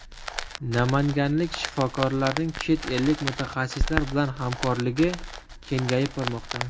Namanganlik shifokorlarning chet ellik mutaxassislar bilan hamkorligi kengayib bormoqda.